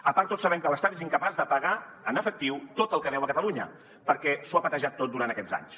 a part tots sabem que l’estat és incapaç de pagar en efectiu tot el que deu a catalunya perquè ho ha patejat tot durant aquests anys